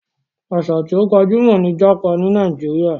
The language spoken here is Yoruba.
Àṣà tí ó gbajúmọ̀ ni jápa ní Nàíjíríà.